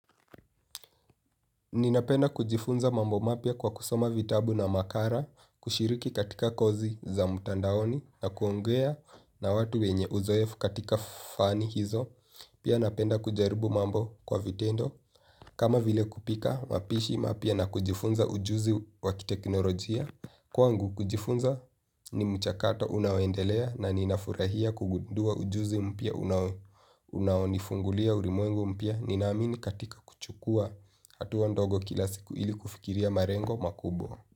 Ninapenda kujifunza mambo mapya kwa kusoma vitabu na makara, kushiriki katika kozi za mtandaoni, na kuongea na watu wenye uzoefu katika fani hizo, pia napenda kujaribu mambo kwa vitendo. Kama vile kupika, mapishi mapya na kujifunza ujuzi wa kiteknolojia. Kwangu kujifunza ni mchakato unaoendelea na ninafurahia kugundua ujuzi mpya unaonifungulia urimwengu mpya. Ninaamini katika kuchukua hatua ndogo kila siku ili kufikiria marengo makubwa.